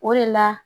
O de la